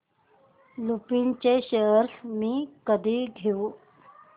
लुपिन चे शेअर्स मी कधी घेऊ